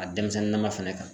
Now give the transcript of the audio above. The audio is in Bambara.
A denmisɛnnin nama fɛnɛ kan